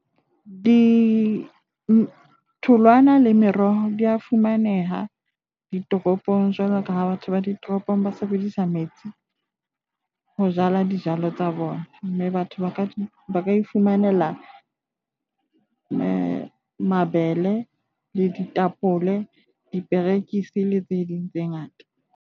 Ditholwana le meroho dia fumaneha ditoropong. Jwalo ka ha batho ba ditoropong ba sebedisa metsi ho jala dijalo tsa bona mme batho ba ka iphumanela mabele, ditapole, diperekisi le tse ding tse ngata.